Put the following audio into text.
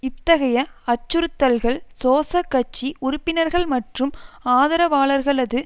இத்தகைய அச்சுறுத்தல்கள் சோசகட்சி உறுப்பினர்கள் மற்றும் ஆதரவாளர்களது